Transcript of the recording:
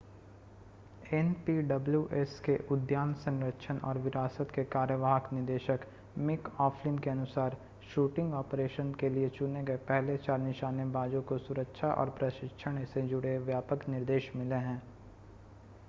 npws के उद्यान संरक्षण और विरासत के कार्यवाहक निदेशक मिक ओफ्लिन के अनुसार शूटिंग ऑपरेशन के लिए चुने गए पहले चार निशानेबाजों को सुरक्षा और प्रशिक्षण से जुड़े व्यापक निर्देश मिले हैं